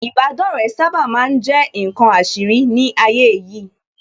Ìbádọ́rẹ̀ẹ́ sábà ma ń jẹ́ ǹkan àṣírí ní ayé yìí